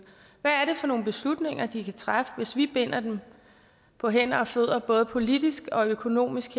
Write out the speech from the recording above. for nogle beslutninger de kan træffe hvis vi herindefra binder dem på hænder og fødder både politisk og økonomisk